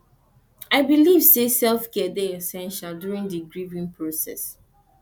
i dey believe say selfcare dey essential during di grieving process